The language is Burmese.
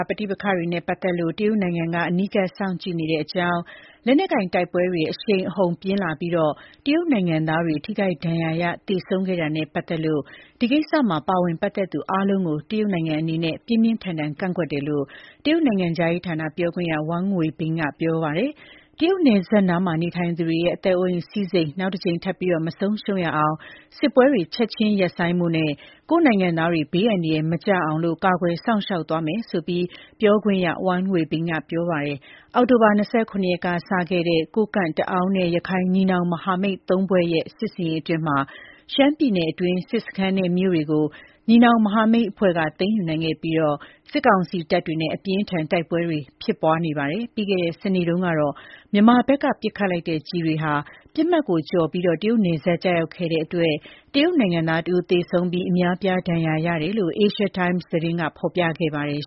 ပဋိပက္ခတွေနဲ့ ပတ်သတ်လို့ တရုတ်နိုင်ငံက အနီးကပ်စောင့်ကြည့်နေတဲ့ အကြောင်း၊ လက်နက်ကိုင်တိုက်ပွဲတွေ အရှိန်အဟုန်ပြင်းထန်လာပြီး တရုတ်နိုင်ငံသားတွေ ထိခိုက်ဒဏ်ရာရ သေဆုံးခဲ့တာနဲ့ ပတ်သတ်လို့ ဒီကိစ္စမှာ ပါဝင်ပတ်သတ်သူအားလုံးကို တရုတ်နိုင်ငံအနေနဲ့ ပြင်းပြင်းထန်ထန်ကန့်ကွက်ပါတယ်လို့ တရုတ်နိုင်ငံခြားရေးဌာန ပြောခွင့်ရ Wang Wenbin က ပြောပါတယ်။ တရုတ်နပ်စပ်နားမှာ နေထိုင်ကြသူတွေရဲ့ အသက်အိုးအိမ်စည်းစိမ် နောက်တကြိမ် ထပ်ပြီး မဆုံးရှုံးရအောင် စစ်ပွဲတွေ ချက်ချင်းရပ်ဆိုင်းဖို့နဲ့ ကိုယ့်နိုင်ငံသားတွေ ဘေးအန္တရယ် မကျရောက်အောင် ကာကွယ်စောင့်ရှောက် သွားမယ်ဆိုပြီးတော့လည်း Wang Wenbin က ပြောဆိုပါတယ်။ အောက်တိုဘာ ၂၇ ရက်နေ့ကစတင်တဲ့ ကိုးကန့်၊ တအောင်းနဲ့ ရက္ခိုင် ညီနောင် မဟာမိတ် ၃ဖွဲ့ရဲ့ စစ်ဆင်ရေး အတွင်း ရှမ်းပြည်နယ်အတွင်းက စစ်စခန်းနဲ့ မြို့တွေကို ညီနောင်မဟာမိတ်အဖွဲ့က သိမ်းယူနိုင်ခဲ့ပြီး စစ်ကောင်စီတပ်တွေနဲ့ အပြင်းအထန် တိုက်ပွဲတွေ ဖြစ်ပွားနေတာပါ။ ပြီးခဲံတဲ့ စနေနေ့တုန်းကတော့ မြန်မာဘက်က ပစ်ခတ်လိုက်တဲ့ ကျည်တွေဟာ ပစ်မှတ်ကိုကျော်လွန်ပြီး တရုတ်နယ်စပ်ကိုကျရောက်ခဲ့တဲ့အတွက် တရုတ်နိုင်ငံသားတဦးသေဆုံးပြီး အများအပြား ဒဏ်ရာရတယ်လို့ Asia Times သတင်းမှာ ဖော်ပြခဲ့ပါတယ်